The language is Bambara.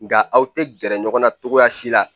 Nga aw te gɛrɛ ɲɔgɔn na cogoya si la